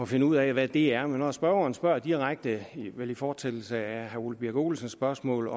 finde ud af hvad det er men når spørgeren spørger direkte vel i fortsættelse af herre ole birk olesens spørgsmål